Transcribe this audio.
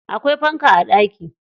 Akwai fanka a ɗaki.